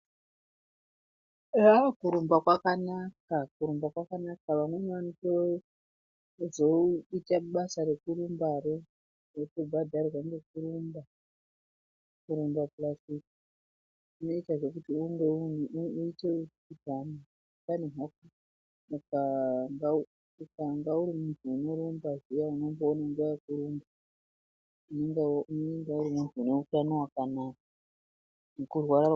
Aaaa kurumba kwakanaka, kurumba kwakanaka, vamweni vanotoedza kutsvaka basa rekurumbaro votobhadharwa ngekurumba pulasi ukange uri muntu unotorumba zviya unenge uri muntu unorambe wakagwinya.